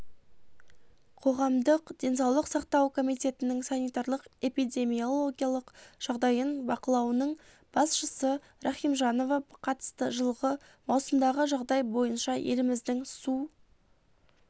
қоғамдық денсаулық сақтау комитетінің санитарлық-эпидемиологиялық жағдайын бақлауының басшысы рахимжанова қатысты жылғы маусымдағы жағдай бойынша еліміздің су